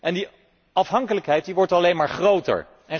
En die afhankelijkheid wordt alleen maar groter.